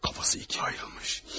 Kafası iki ayrılmış.